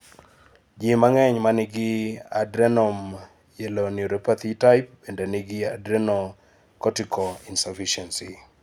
ji mang'eny manigi adrenomyeloneuropathy type bende nigi adrenocortical insufficiency.